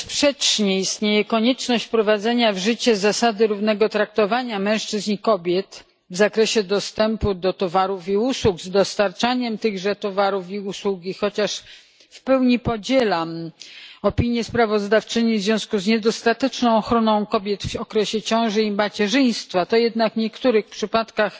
Mimo że bezsprzecznie istnieje konieczność wprowadzenia w życie zasady równego traktowania mężczyzn i kobiet w zakresie dostępu do towarów i usług, z dostarczaniem tychże towarów i usług, i chociaż w pełni podzielam opinię sprawozdawczyni co do niedostatecznej ochrony kobiet w okresie ciąży i macierzyństwa, to jednak w niektórych przypadkach